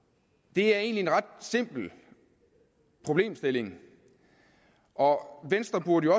det er egentlig en ret simpel problemstilling og venstre burde